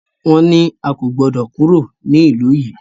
Wọ́n ní a kò gbọdọ̀ kúrò ní ìlú yìí!